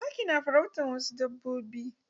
Zaki na farautan wasu dabbobi.